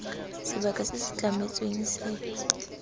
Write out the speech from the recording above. sebaka se se tlametsweng se